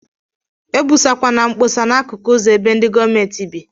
Ebusa kwana nkposa na akụkụ uzọ ebe ndi gọọmenti bi.